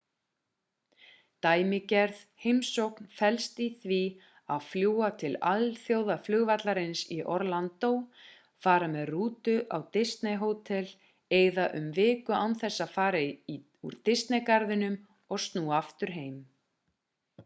dæmigerð heimsókn felst í því að fljúga til alþjóðaflugvallarins í orlando fara með rútu á disney-hótel eyða um viku án þess að fara úr disney-garðinum og snúa aftur heim